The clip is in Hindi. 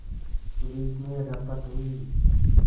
पुलिस में रपट हुई